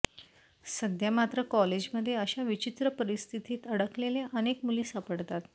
सध्या मात्र कॉलेजमध्ये अशा विचित्र परिस्थितीत अडकलेल्या अनेक मुली सापडतात